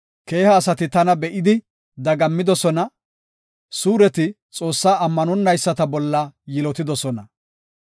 Keeha asati tana be7idi dagammidosona; suureti Xoossaa ammanonayisata bolla yilotidosona.